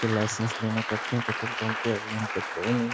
licence लेने पड़ते हैं पेट्रोल पंप के यहां पर को --